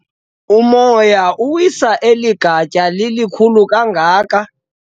Umoya uwise eli gatya lilikhulu kangaka.